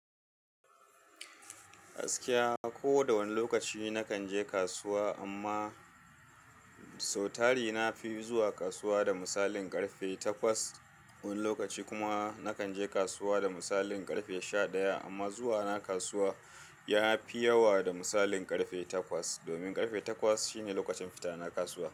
Gaskiya ko da wane lokaci nakan je kasuwa amma sautari na fi zuwa kasuwa da misalin karfe takwas. Wani lokaci kuma nakan je kasuwa da misalin karfe sha ɗaya amma zuwa na kasuwa ya fi yawa da misalin karfe takwas domin karfe takwas shine lokacin fita na kasuwa.